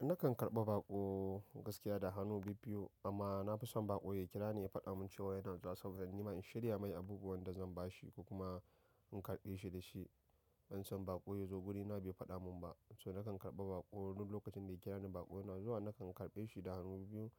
Nakan karɓi baƙo gaskiya da hannu biyu-biyu amma na fi son baƙo ya kira ni ya faɗa min cewa yana zuwa saboda nima in shirya mai abubuwan da zan ba shi ko kuma in karɓe shi da shi. Ban san baƙo ya zo wurina bai faɗa min ba, so nakan karɓa baƙo duk lokacin da ya kira ni baƙo yana zuwa nakan karɓe shi da hannu biyu,